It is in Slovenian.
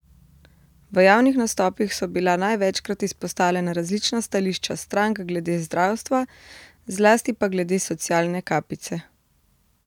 V javnih nastopih so bila največkrat izpostavljena različna stališča strank glede zdravstva, zlasti pa glede socialne kapice.